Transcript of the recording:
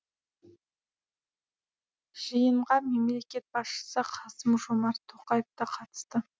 жиынға мемлекет басшысы қасым жомарт тоқаев та қатысты